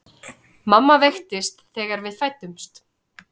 Mamma veiktist þegar við fæddumst.